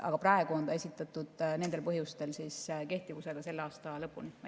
Aga praegu on ta esitatud nendel põhjustel kehtivusega selle aasta lõpuni.